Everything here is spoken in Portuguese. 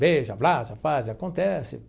Beija, abraça, faz, acontece.